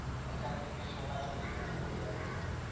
ওইখান থেকে সোনা চুরি করে নিয়ে যাচ্ছে।